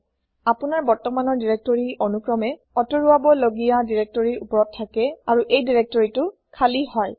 আপুনাৰ বৰ্তমানৰ দিৰেক্তৰি অনুক্ৰমে আতৰাব লগিয়া দিৰেক্তৰিৰ ওপৰত থাকে আৰু এই দিৰেক্তৰিটো খালি হয়